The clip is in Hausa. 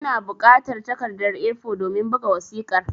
Ina bukatar takarda (A4) domin buga wasiƙar